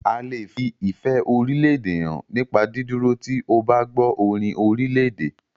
A lè fi ìfẹ́ orílédè hàn nípa dídúró tí o bá gbọ́ orin orílèdè.